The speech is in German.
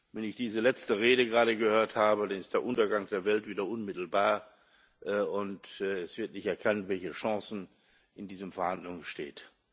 Wenn ich diese letzte Rede gerade gehört habe, dann ist der Untergang der Welt wieder unmittelbar, und es wird nicht erkannt, welche Chancen in diesen Verhandlungen bestehen.